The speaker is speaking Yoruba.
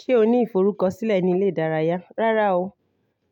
Ṣé o ní ìforúkọsílẹ̀ ní ilé ìdárayá? Rárá o,